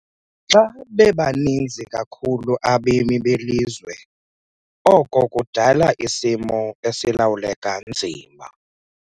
Xa bebaninzi kakhulu abemi belizwe oko kudala isimo esilawuleka nzima.